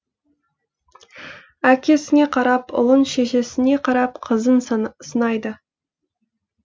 әкесіне қарап ұлын шешесіне қарап қызын сынайды